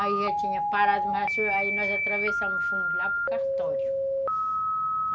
Aí já tinha parado, mas aí nós atravessamos, fomos lá para o cartório.